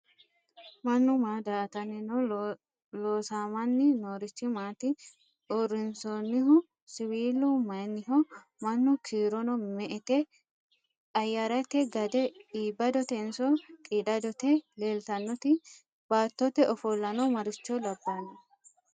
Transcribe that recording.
Mannu maa daa'atanni no? Loosamanni noorichi maati? Uurrinsoonnihu siwiilu mayinniho? Mannu kiirono me'ete? Ayyarete gade iibbadotenso qiidadote leeltannoti? Baattote ofollano maricho labbanno?